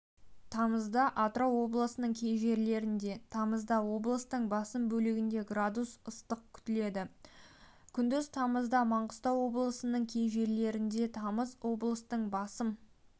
тамызда атырау облысының кей жерлерінде тамызда облыстың басым бөлігінде градус ыстық күтіледі күндіз тамызда маңғыстау облысының кей жерлерінде тамызда облыстың басым